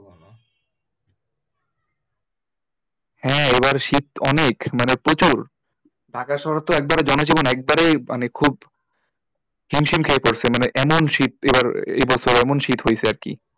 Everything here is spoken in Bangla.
হ্যাঁ এবার শীত অনেক মানে প্রচুর ঢাকা শহরে তো একবারে একবারে মানে খুব হিমশিম খেয়ে পড়েছে মানে এমন শীত এবার এই বছর এমন শীত হয়েছে আরকি